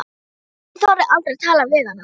En ég þorði aldrei að tala við hana.